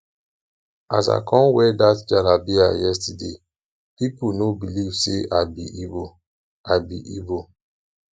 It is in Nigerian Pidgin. as i come wear that jalabiya yesterday people no believe say i be igbo i be igbo